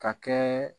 Ka kɛ